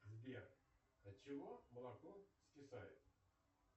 сбер отчего молоко скисает